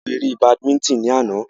A wo ere badimítìn ní àná